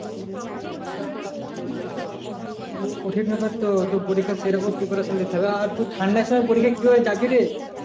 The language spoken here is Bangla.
তা কঠিন ব্যাপার তো পরীক্ষা সে রকম preparation নিতে হবে আর ঠাণ্ডার সময় পরীক্ষায় কি ভাবে যাবি রে